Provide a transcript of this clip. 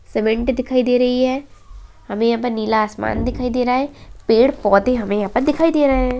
सिमेन्ट दिखाइ दे रही है हमे यहाँ पर नीला आसमान दिखाई दे रहा है पैड़-पौधें हमें यहाँ पर दिखाई दे रहे हैं।